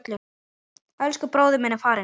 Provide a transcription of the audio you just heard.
Elsku bróðir minn er farinn.